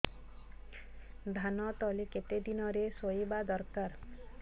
ଧାନ ତଳି କେତେ ଦିନରେ ରୋଈବା ଦରକାର